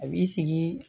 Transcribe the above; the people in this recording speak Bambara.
A b'i sigi